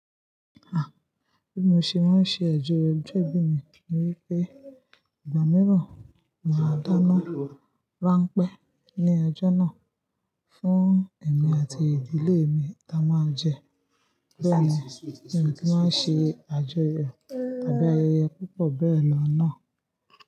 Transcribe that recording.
A! Bí mo ṣe máa ń ṣe àjọyọ̀ ọjọ́ ìbí mi ni wípé igba mìíràn máa dáná ránpẹ́ ní ọjọ́ náà fún ẹ̀mí àti ìdílé mi la máa jẹ. Bẹ́ẹ̀ ni èmi ki máa ń ṣe àjọyọ̀ tàbí ayẹyẹ púpọ̀ bẹ́ẹ̀ lọ náà.